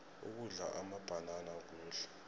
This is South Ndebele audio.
ukudla amabhanana kuhle